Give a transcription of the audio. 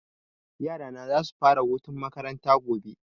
Yara na za su fara hutun makaranta gobe